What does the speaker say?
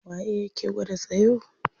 Waye yake gwada tsayo?